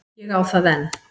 Ég á það enn.